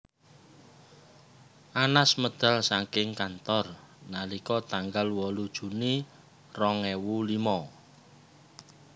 Anas medal saking kantor nalika tanggal wolu Juni rong ewu limo